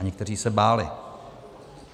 A někteří se báli.